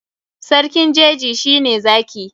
Sarkin jeji shi ne Zaki.